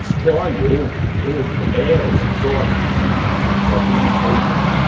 escolhe ou ou é ou se torna um homossexual, tem essa orientação.